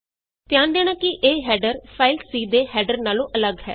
ਧਿਆਨ ਦੇਣਾ ਕਿ ਇਹ ਹੈਡਰ ਫਾਈਲ C ਦੇ ਹੈਡਰ ਨਾਲੋਂ ਅੱਲਗ ਹੈ